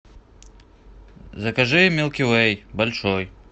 закажи милки вей большой